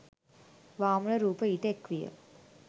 වාමන රූප ඊට එක්විය.